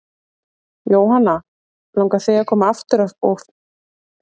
Jóhanna: Langar þig að koma aftur og ferðast meira?